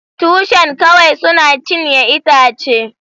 Tushen kawai suna cinye itacen.